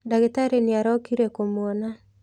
Ndagitarĩ nĩ araukire kũmũona.